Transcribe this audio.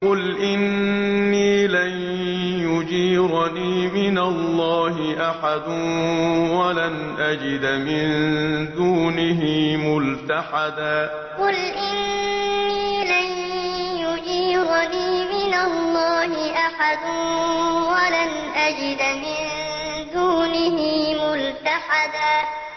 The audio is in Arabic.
قُلْ إِنِّي لَن يُجِيرَنِي مِنَ اللَّهِ أَحَدٌ وَلَنْ أَجِدَ مِن دُونِهِ مُلْتَحَدًا قُلْ إِنِّي لَن يُجِيرَنِي مِنَ اللَّهِ أَحَدٌ وَلَنْ أَجِدَ مِن دُونِهِ مُلْتَحَدًا